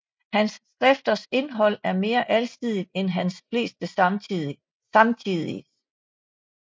Hans skrifters indhold er mere alsidigt end hans fleste samtidiges